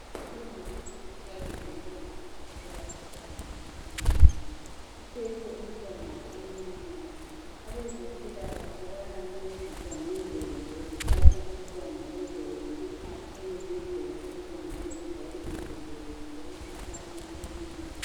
Umama uthabile ngemva kokuthola umntwana omncinyane. Uphethe umntanakhe omncinyane abezempila kahle bayamncedisa ngendlela zokuphatha umntwana ukwenzela ukuthi akhule ngendlela eqondileyo njalo evikelekile emkhuhlaneni eminengi.